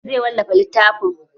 Zai wallafa littafin?